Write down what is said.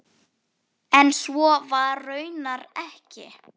En svo var raunar ekki.